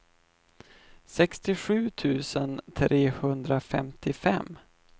sextiosju tusen trehundrafemtiofem